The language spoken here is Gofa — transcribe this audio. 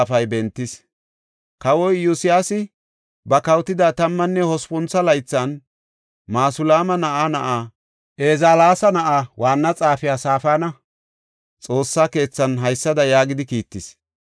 Kawoy Iyosyaasi ba kawotida tammanne hospuntho laythan, Masulaama na7aa na7aa, Ezalaasa na7aa, waanna xaafiya Safaana, Xoossa keethan haysada yaagidi kiittis.